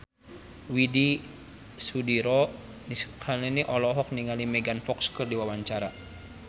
Widy Soediro Nichlany olohok ningali Megan Fox keur diwawancara